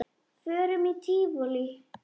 Förum í tívolí og fleira.